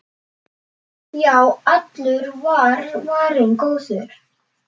Já, allur var varinn góður!